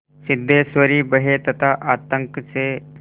सिद्धेश्वरी भय तथा आतंक से